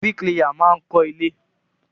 Bíríkìlà máa ń kọ́ ilé.